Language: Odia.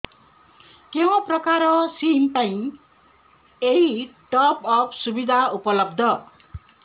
କେଉଁ ପ୍ରକାର ସିମ୍ ପାଇଁ ଏଇ ଟପ୍ଅପ୍ ସୁବିଧା ଉପଲବ୍ଧ